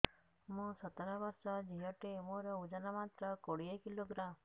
ମୁଁ ସତର ବର୍ଷ ଝିଅ ଟେ ମୋର ଓଜନ ମାତ୍ର କୋଡ଼ିଏ କିଲୋଗ୍ରାମ